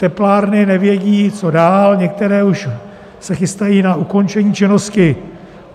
Teplárny nevědí, co dál, některé se už chystají na ukončení činnosti.